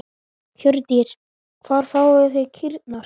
Hjördís: Hvar fáið þið kýrnar?